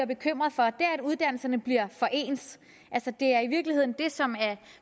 bekymret for er at uddannelserne bliver for ens det er i virkeligheden det som er